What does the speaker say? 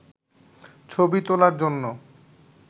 ছবি তোলার জন্য